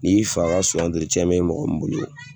Ni fa ka cɛn bɛ e mɔgɔ min bolo ye